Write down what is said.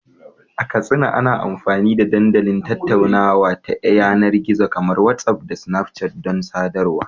A Katsina, ana amfani da dandalin tattaunawa ta yanar gizo kamar WhatsApp da Snapchat don sadarwa.